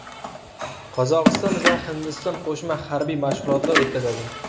Qozog‘iston va Hindiston qo‘shma harbiy mashg‘ulotlar o‘tkazadi.